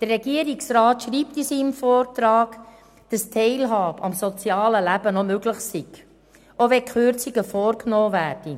Der Regierungsrat schreibt in seinem Vortrag, dass die Teilhabe am sozialen Leben noch möglich sei, auch wenn die Kürzungen vorgenommen werden.